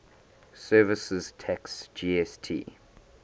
services tax gst